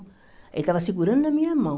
Ele estava segurando na minha mão.